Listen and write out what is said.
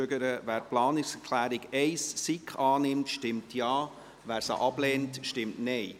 Wer die Planungserklärung 1, SiK annimmt, stimmt Ja, wer sie ablehnt, stimmt Nein.